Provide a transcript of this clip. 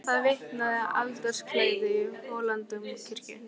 Um það vitnaði altarisklæðið í Hóladómkirkju.